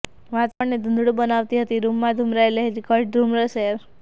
વાતાવરણને ધૂંધળું બનાવતી હતી રૂમમાં ઘૂમરાઈ રહેલી ઘટ્ટ ધૂમ્રસેર